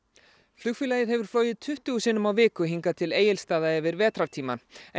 flugfélagið hefur flogið tuttugu sinnum á viku hingað til Egilsstaða yfir vetrartímann en